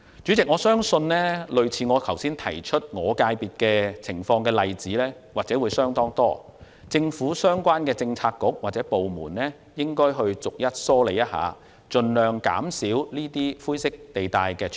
主席，我相信與我剛才提到的我所屬界別類似的情況相當多，政府相關政策局或部門應逐一梳理，盡量減少灰色地帶。